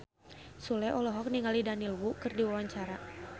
Sule olohok ningali Daniel Wu keur diwawancara